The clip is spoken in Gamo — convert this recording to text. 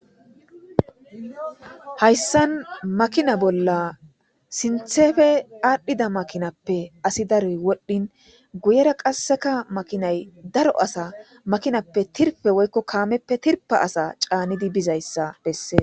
Hayssan makinna bolla sinththeppe adhdhida makkinappe asi daro wodhdhin guyera qasekka makinnay daro asatta makkinappe tirffe woyko kammeppe tirffa asa channidi bizayssa besses.